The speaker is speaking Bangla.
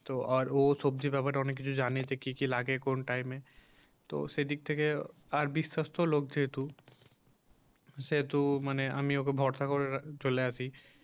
তো আরও সবজির ব্যাপারে অনেক কিছু জানে কি কি লাগে কোন time এ তো সেই দিক থেকে তার বিশ্বস্ত লোক যেহেতু সেহেতু আমি ওকে ভরসা করে চলে আসি